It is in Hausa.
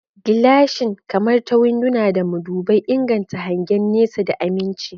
Gilashin, kamar ta winduna da madubai, inganta hangen nesa da aminci.